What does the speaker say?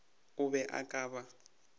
o be o ka ba